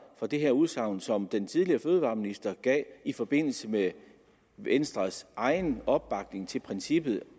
fra det her udsagn som den tidligere fødevareminister gav i forbindelse med venstres egen opbakning til princippet